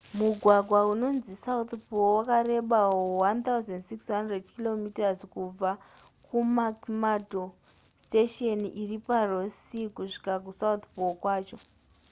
mugwagwa unonzi south pole wakareba 1 600 km kubva kumcmurdo station iri paross sea kusvika kusouth pole kwacho